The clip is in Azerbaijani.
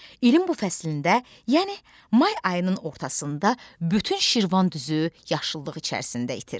İlin bu fəslində, yəni may ayının ortasında bütün Şirvan düzü yaşıllıq içərisində itir.